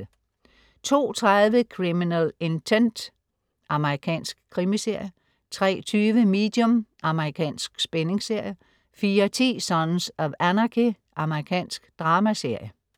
02.30 Criminal ntent. Amerikansk krimiserie 03.20 Medium. Amerikansk spændingsserie 04.10 Sons of Anarchy. Amerikansk dramaserie